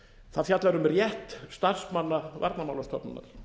það fjallar um rétt starfsmanna varnarmálastofnunar